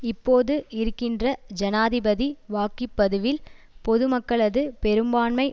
இப்போது இருக்கின்ற ஜனாதிபதி வாக்கிபதிவில் பொதுமக்களது பெரும்பான்மை